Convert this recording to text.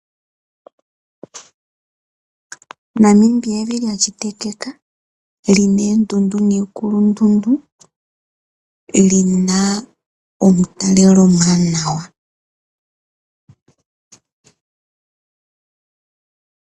Namibia evi lyashitikika lyina endundu niikulundundu lyina omutalelo omwanawa.